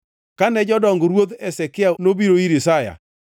Kane jodong Ruoth Hezekia nobiro ir Isaya,